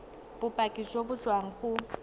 bopaki jo bo tswang go